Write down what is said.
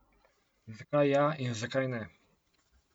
Zakaj ja in zakaj ne?